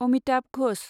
Amitabh Ghosh